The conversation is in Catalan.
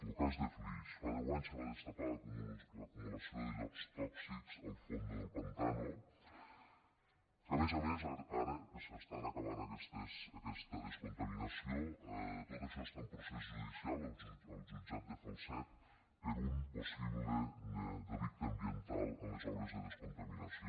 lo cas de flix fa deu anys se va destapar l’acumulació de llots tòxics al fons del pantà que a més a més ara que s’està acabant aquesta descontaminació tot això està en procés judicial al jutjat de falset per un possible delicte ambiental en les obres de descontaminació